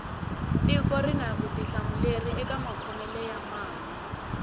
tiko rini vutihlamuleri eka makhomele ya mali